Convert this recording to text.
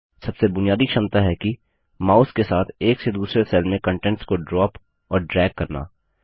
सबसे बुनियादी क्षमता है कि माउस के साथ एक से दूसरे सेल में कन्टेंट्स को ड्रॉप और ड्रैग करना